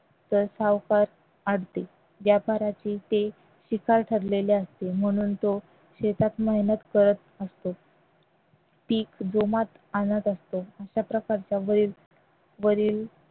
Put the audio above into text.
ठरलेले असते म्हणून तो शेतात मेहनत करत असतो पीक जोमात आणत असतो अशाप्रकारच्या